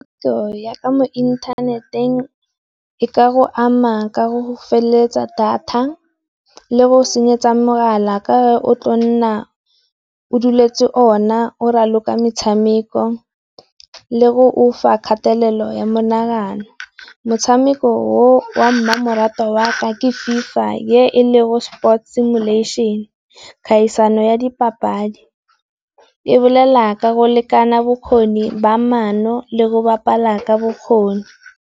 Tiro ya mo inthaneteng e ka go ama ka go go feleletsa data, le go senyetsa mogala ka o tlo nna o dueletse ona, o raloka metshameko le o fa kgatelelo ya monagano. Motshameko o o a mmamoratwa wa ka ke FIFA e le gore Sports Similation, kgaisano ya dipapadi, e bolela ka go lekana bokgoni ba mono le go bapala ka bokgoni.